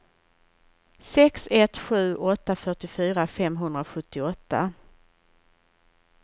sex ett sju åtta fyrtiofyra femhundrasjuttioåtta